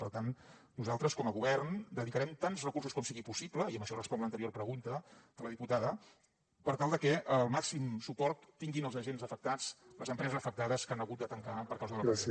per tant nosaltres com a govern dedicarem tants recursos com sigui possible i amb això responc l’anterior pregunta de la diputada per tal de que el màxim suport tinguin els agents afectats les empreses afectades que han hagut de tancar per causa de la crisi